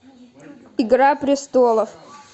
игра престолов